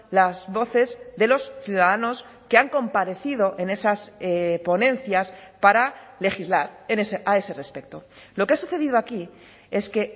las voces de los ciudadanos que han comparecido en esas ponencias para legislar a ese respecto lo que ha sucedido aquí es que